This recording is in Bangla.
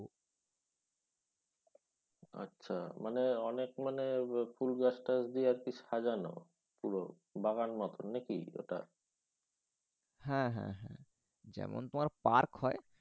তয়াচ্ছা মানে অনেক মানে ফুল গাছ টাচ দিয়ে মানে সাজানো। পুরো বাগান মত নাকি? হ্যাঁ হ্যাঁ হ্যাঁ। যেমন তোমার পার্ক হয়